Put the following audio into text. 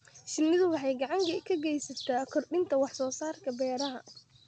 Shinnidu waxay gacan ka geysan kartaa kordhinta wax-soo-saarka beeraha.